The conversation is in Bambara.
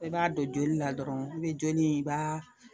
I b'a don joli la dɔrɔn i be joli i b'a